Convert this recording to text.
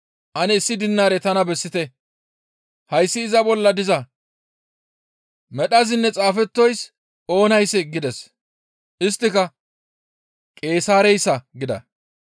«Ane issi dinaare tana bessite, hayssi iza bolla diza medhazinne xaafettoyssi oonayssee?» gides. Isttika, «Qeesaareyssa» gida.